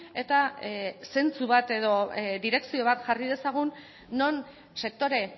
eta zentzu bat edo direkzio bat jarri dezagun non sektore